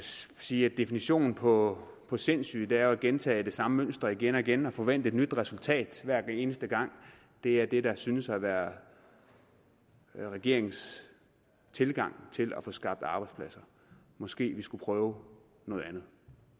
sige at definitionen på på sindssyge er at gentage det samme mønster igen og igen og forvente et nyt resultat hver eneste gang det er det der synes at være regeringens tilgang til at få skabt arbejdspladser måske skulle vi prøve noget andet